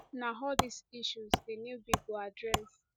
na all dis issues di new bill go address